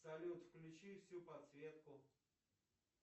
салют включи всю подсветку